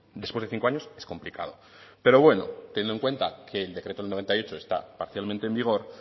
después de cinco años es complicado pero bueno teniendo que decreto del noventa y ocho está parcialmente en vigor